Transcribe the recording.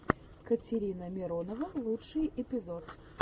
катерина миронова лучший эпизод